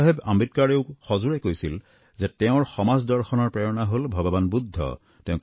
বাবা চাহেব আম্বেদকাৰেও সজোৰে কৈছিল যে তেওঁৰ সমাজ দৰ্শনৰ প্ৰেৰণা হল ভগবান বুদ্ধ